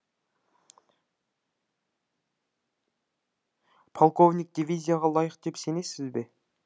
полковник дивизияға лайық деп сенесіз бе